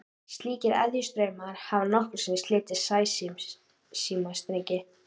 Slíkir eðjustraumar hafa nokkrum sinnum slitið sæsímastrengi.